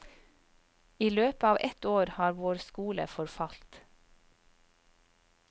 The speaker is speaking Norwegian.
I løpet av ett år har vår skole forfalt.